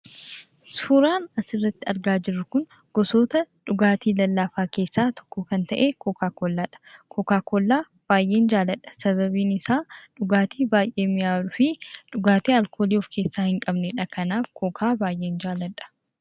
Suuraan asirratti argaa jirru kun gosoota dhugaatii lallaafaa keessaa tokko kan ta'e kookaa kollaadha. Kookaa kolaa baay'een jaalladha sababiin isaa dhugaatii baay'ee mi'aawaa fi dhugaatii alkoolii of keessaa hin qabnedha. Kanaaf kookaa baay'een jaalladha.